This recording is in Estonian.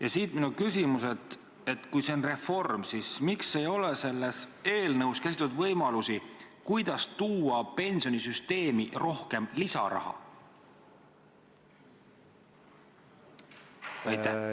Ja siit minu küsimus: kui see on reform, siis miks ei ole selles eelnõus käsitletud võimalusi, kuidas tuua pensionisüsteemi rohkem lisaraha?